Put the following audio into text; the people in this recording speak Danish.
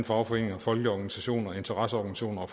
fagforeninger folkelige organisationer interesseorganisationer